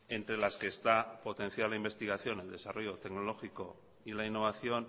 entre las que está potenciada la investigación al desarrollo tecnológico y la innovación